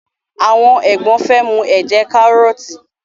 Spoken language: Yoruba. awọn egbon fe mu ẹjẹ karọọti